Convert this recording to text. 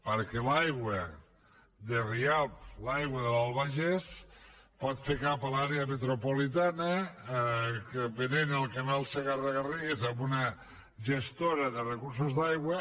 perquè l’aigua de rialb l’aigua de l’albagés pot fer cap a l’àrea metropolitana que venent el canal segarra garrigues a una gestora de recursos d’aigua